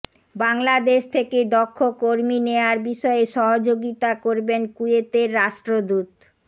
বাংলাদেশ থেকে দক্ষ কর্মী নেয়ার বিষয়ে সহযোগিতা করবেন কুয়েতের রাষ্ট্রদূত